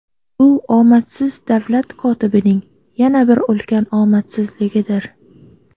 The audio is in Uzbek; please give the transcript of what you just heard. Bu omadsiz davlat kotibining yana bir ulkan omadsizligidir.